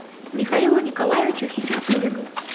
михаилу николаевичу хисматуллину